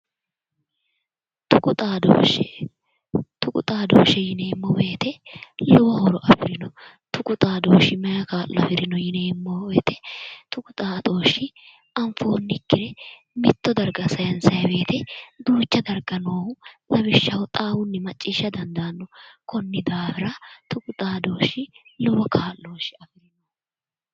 Tuqu xadooshshe yineemmo woyite lowo horo afirino tuqu xadooshshi maayi kaa'lo afirewo yineemmo woyite tuqu xadooshshi anfoonnikire mitto dariga sayinsaayi weete duucha dariga noohu lawishsha xaawunni maciishsha dandaanno konni daafira tuqu xadooshshi lowo ka'looshe afirino